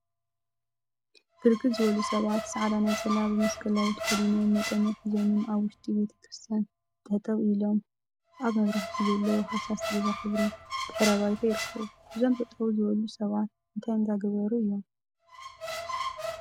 ብርክት ዝበሉ ሰባት ፃዕዳ ነፀላ ብመሰቀላዊ ተከዲኖም መቆምያ ሒዞምን አብ ውሽጢ ቤተ ክርስትያን ጠጠው ኢሎም አብ መብራህቲ ዘለዎ ሃሳስ ዒባ ሕብሪ ድሕረ ባይታ ይርከቡ፡፡ እዞም ጠጠው ዝበሉ ሰባት እንታይ እንዳገበሩ እዮም?